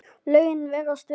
Lögin virðast vera